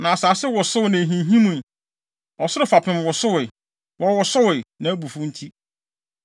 Na asase wosowee na ehinhimii; ɔsoro fapem wosowee; wɔwosowee, nʼabufuw nti.